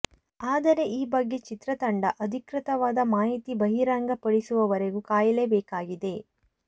ಆದರೆ ಈ ಬಗ್ಗೆ ಚಿತ್ರತಂಡ ಅಧಿಕೃತವಾದ ಮಾಹಿತಿ ಬಹಿರಂಗ ಪಡಿಸುವವರೆಗೂ ಕಾಯಲೇ ಬೇಕಾಗಿದೆ